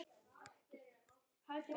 Góður vinur.